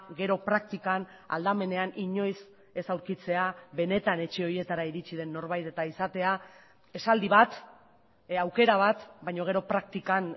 gero praktikan aldamenean inoiz ez aurkitzea benetan etxe horietara iritzi den norbait eta izatea esaldi bat aukera bat baina gero praktikan